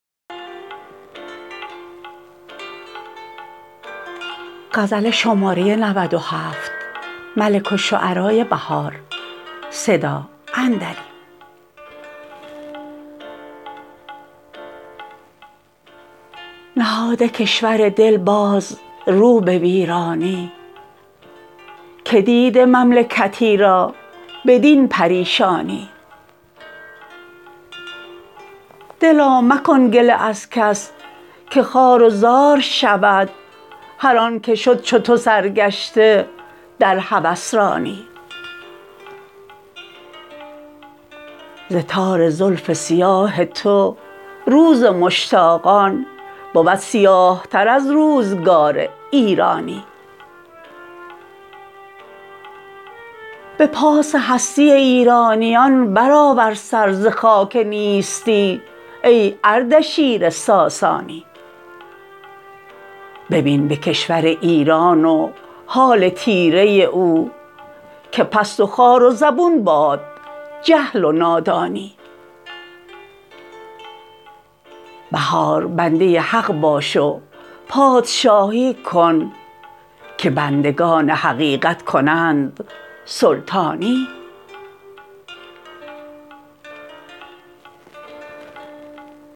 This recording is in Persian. نهاده کشور دل باز رو به ویرانی که دیده مملکتی را بدین پریشانی دلا مکن گله از کس که خوار و زار شود هر آن که شد چو تو سرگشته در هوسرانی ز تار زلف سیاه تو روز مشتاقان بود سیاه تر از روزگار ایرانی به پاس هستی ایرانیان برآور سر ز خاک نیستی ای اردشیر ساسانی ببین به کشور ایران و حال تیره او که پست و خوار و زبون باد جهل و نادانی بهار بنده حق باش و پادشاهی کن که بندگان حقیقت کنند سلطانی